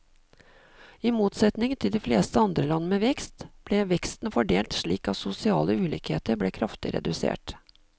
I motsetning til de fleste andre land med vekst, ble veksten fordelt slik at sosiale ulikheter ble kraftig redusert.